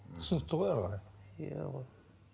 түсінікті ғой әрі қарай иә ол